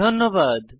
ধন্যবাদ